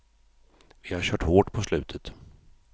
Vi har kört hårt på slutet.